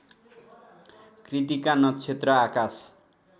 कृत्तिका नक्षत्र आकाश